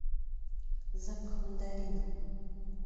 запах мандарина